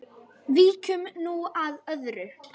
Víkjum nú að öðru.